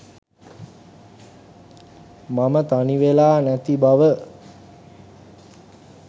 මම තනිවෙලා නැතිබව.